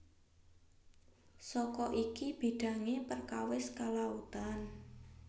Saka iki bidangi perkawis kelautan